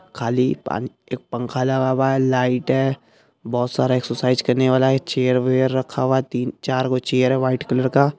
खाली एक पानी एक पंख लगा हुआ है लाइट है बोहोत सारा एक्सएरसाइज करने वाला ये चेयर वैयर रखा है तीन-चार गो चेयर है वाइट कलर का --